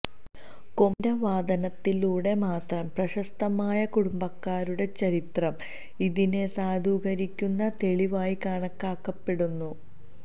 കൊമ്പിന്റെ വാദനത്തിലൂടെ മാത്രം പ്രശസ്തമായ കുടുംബക്കാരുടെ ചരിത്രം ഇതിനെ സാധൂകരിക്കുന്ന തെളിവായി കണക്കാക്കപ്പെടുന്നു